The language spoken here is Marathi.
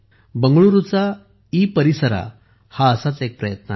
बेंगळुरूचा ईपरिसरा हा असाच एक प्रयत्न आहे